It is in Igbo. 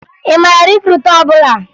Ị mara rikruutu ọbụla?